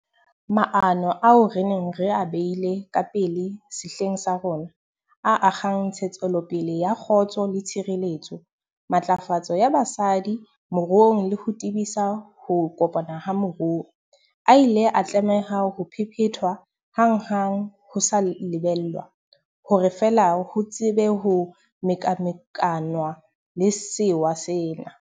Maano ao re neng re a beile ka pele sehleng sa rona, a akgang ntshetsopele ya kgotso le tshireletso, matlafatso ya basadi moruong le ho tebisa ho kopana ha moruo, a ile a tlameha ho phephethwa hanghang ho sa lebellwa, hore fela ho tsebe ho mekamekanwa le sewa sena.